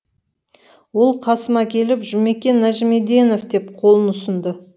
ол қасыма келіп жұмекен нәжімеденов деп қолын ұсынды